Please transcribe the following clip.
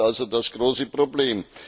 Hier liegt also das große Problem.